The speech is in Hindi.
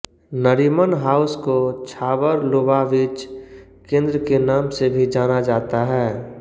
नरीमन हाउस को छाबड़ लुबाविच केंद्र के नाम से भी जाना जाता है